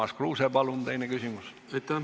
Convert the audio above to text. Urmas Kruuse, palun, teine küsimus!